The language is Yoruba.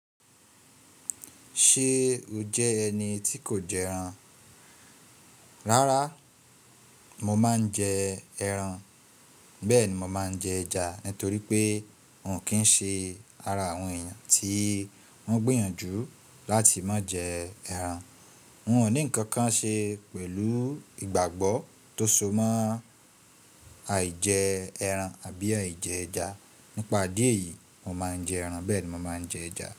Ṣé o jẹ́ ẹni tí kò jẹ ẹran? Rárá, mo máa ń jẹ ẹran, bẹ́ẹ̀ ni mo máa ń jẹ ẹja, nítorí pé n ò kí ń ṣe ara àwọn èèyàn tí wọ́n gbìyànjú láti má jẹ ẹran. N ò ní nnkan kan ṣe pẹ̀lú ìgbàgbọ́ tó so mọ́ àìjẹ ẹran àbí àìjẹ ẹja. Nípa idíẹ̀ eyìí, mo máa ń jẹ ẹran bẹ́ẹ̀ ni mo máa ń jẹ ẹja.